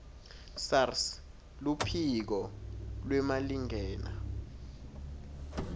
sars luphiko lwemalingena